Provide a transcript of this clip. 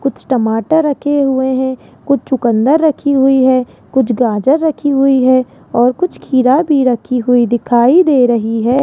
कुछ टमाटर रखे हुए है कुछ चुकंदर रखी हुई है कुछ गाजर रखी हुई है और कुछ खीरा भी रखी हुई दिखाई दे रही है।